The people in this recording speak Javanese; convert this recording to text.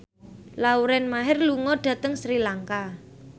Lauren Maher lunga dhateng Sri Lanka